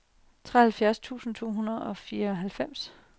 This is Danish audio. treoghalvfjerds tusind to hundrede og fireoghalvfems